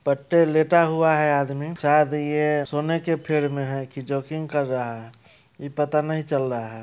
पट्टे लेटा हुआ है आदमी सायद ये सोने के फेर में है की जोकिंग कर रहा है इ पता नहीं चल्ला है।